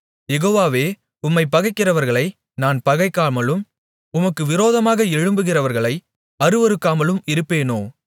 யெகோவாவே உம்மைப் பகைக்கிறவர்களை நான் பகைக்காமலும் உமக்கு விரோதமாக எழும்புகிறவர்களை அருவருக்காமலும் இருப்பேனோ